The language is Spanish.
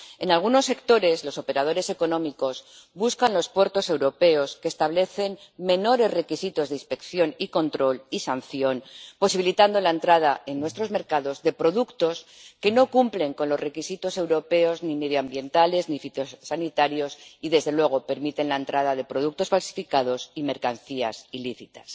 En algunos sectores, los operadores económicos buscan los puertos europeos que establecen menores requisitos de inspección y control y sanción, posibilitando la entrada en nuestros mercados de productos que no cumplen con los requisitos europeos ni medioambientales ni fitosanitarios y, desde luego, permitiendo la entrada de productos falsificados y mercancías ilícitas.